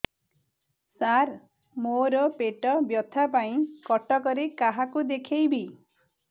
ସାର ମୋ ର ପେଟ ବ୍ୟଥା ପାଇଁ କଟକରେ କାହାକୁ ଦେଖେଇବି